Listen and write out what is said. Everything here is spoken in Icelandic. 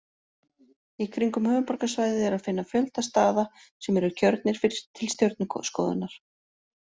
Í kringum höfuðborgarsvæðið er að finna fjölda staða sem eru kjörnir til stjörnuskoðunar.